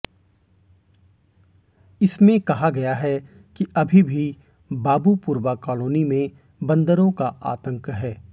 इसमें कहा गया है कि अभी भी बाबूपुरवा कालोनी में बंदरों का आतंक है